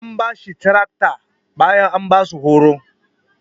An bashi taraktar bayan an basu horon.